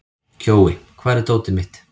Kjói, hvar er dótið mitt?